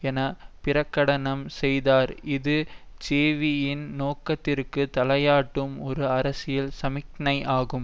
என பிரகடனம் செய்தார் இது ஜேவிபியின் நோக்கத்திற்கு தலையாட்டும் ஒரு அரசியல் சமிக்ஞையாகும்